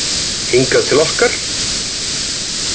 Hingað til okkar?